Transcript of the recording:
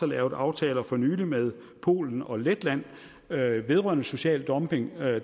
lavet aftaler for nylig med polen og letland vedrørende social dumping at